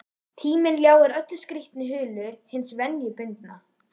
Tíminn ljáir öllu skrýtnu hulu hins venjubundna.